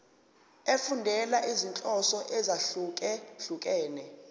efundela izinhloso ezahlukehlukene